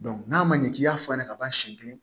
n'a ma ɲɛ k'i y'a f'a ɲɛnɛ kaban siɲɛ kelen